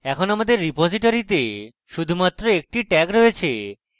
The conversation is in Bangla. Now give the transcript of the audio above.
এখন আমাদের রিপোজিটরীতে শুধুমাত্র একটি tag রয়েছে